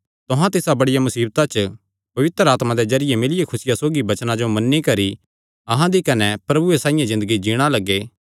तुहां तिसा बड़िया मुसीबता च पवित्र आत्मा दे जरिये मिलियो खुसिया सौगी वचनां जो मन्नी करी अहां दी कने प्रभुये साइआं ज़िन्दगी जीणा लग्गे